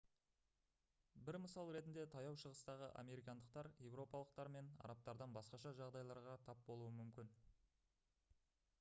бір мысал ретінде таяу шығыстағы американдықтар еуропалықтар мен арабтардан басқаша жағдайларға тап болуы мүмкін